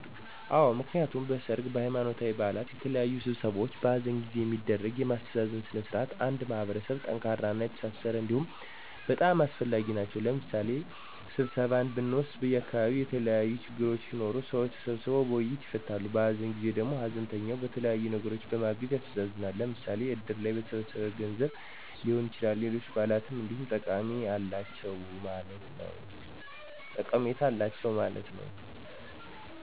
አወ፦ ምክንያቱም ሰርግ፣ ሃይማኖታዊ በዓላት፣ የተለያዩ ስብሰባዎች፣ በሃዘን ጊዜ የሚደረጉ የማስተዛዘን ስነ ስርዓቶች አንድ ማህበረሰብ ጠንካራና የተሣሠረ እንዲሆን በጣም አስፈላጊ ናቸዉ። ለምሣሌ ስብሰባን ብንወስድ በዓካባቢዉ የተለያዪ ችግሮች ሢኖሩ ሰዎች ተሰባስበዉ በዉይይት ይፈታሉ። በሃዘን ጊዜ ደግሞ ሃዘንተኛውን በተለያየ ነገር በማገዝ ያስተዛዝናል። ለምሣሌ እድር ላይ በተሠበሠበ ገንዘብ ሊሆን ይችላል፣ ሌሎች በዓላትም እንዲሁ ጠቀሜታ አላቸው ማለት ነዉ።